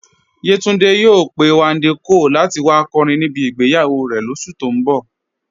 Yétúndé yòò pẹ̀ Wándé Cóàl láti wà kọ́rìn níbí ìgbéyàwó rè lóṣù tó n bọ̀.